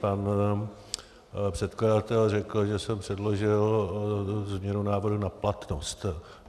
Pan předkladatel řekl, že jsem předložil změnu návrhu na platnost.